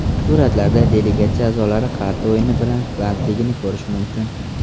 Suratlarda delegatsiya a’zolari qarta o‘yini bilan bandligini ko‘rish mumkin.